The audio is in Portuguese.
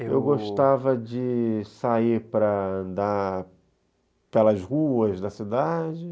Eu gostava de sair para andar pelas ruas da cidade.